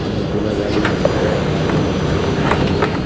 অনেকগুলা গাড়ি দাঁড়ানো আছে সারিবদ্ধভাবে।